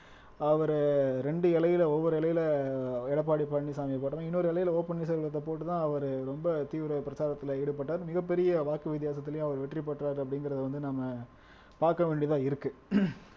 அவரு ரெண்டு இலையில ஒவ்வொரு இலையில எடப்பாடி பழனிச்சாமியை இன்னொரு எல்லையில ஓ பன்னீர் செல்வத்தை போட்டுத்தான் அவரு ரொம்ப தீவிர பிரச்சாரத்துல ஈடுபட்டார் மிகப்பெரிய வாக்கு வித்தியாச அவர் வெற்றி பெற்றோர் அப்படிங்கறத வந்து நம்ம பார்க்க வேண்டியதா இருக்கு